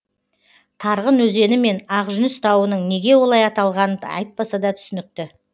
тарғын өзені мен ақ жүніс тауының неге олай аталғаны айтпаса да түсінікті